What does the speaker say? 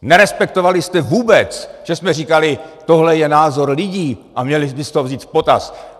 Nerespektovali jste vůbec, že jsme říkali: tohle je názor lidí a měli byste si to vzít v potaz.